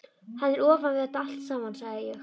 Hann er ofan við þetta allt saman, sagði ég.